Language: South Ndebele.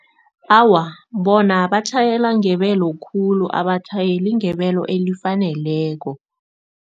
Awa, bona batjhayela ngebelo khulu abatjhayeli ngebelo elifaneleko.